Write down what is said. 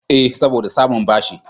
Eh, saboda samun bashi.